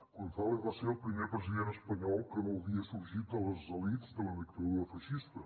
gonzález va ser el primer president espanyol que no havia sorgit de les elits de la dictadura feixista